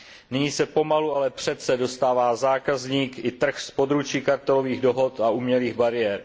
Nyní se pomalu, ale přece dostává zákazník i trh z područí kartelových dohod a umělých bariér.